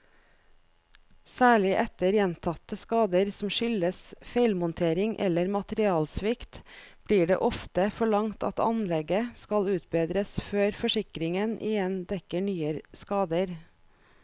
Særlig etter gjentatte skader som skyldes feilmontering eller materialsvikt, blir det ofte forlangt at anlegget skal utbedres før forsikringen igjen dekker nye skader.